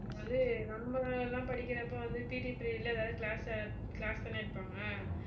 வந்து நம்மெல்லாம் படிக்கிறப்ப வந்து PT period ல ஏதாவது class~ class தான எடுப்பாங்க